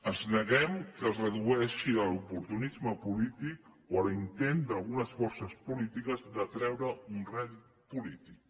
ens neguem que es redueixi a l’oportunisme polític o a l’intent d’algunes forces polítiques de treure un rèdit polític